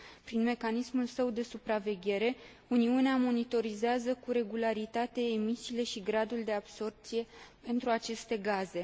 Prin mecanismul său de supraveghere, Uniunea monitorizează cu regularitate emisiile și gradul de absorbție pentru aceste gaze.